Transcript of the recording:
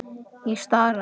Ég starði.